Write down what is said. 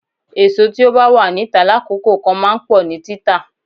Èso tí ó bá wà níta lákòókò kan máa ń pọ̀ ní títà.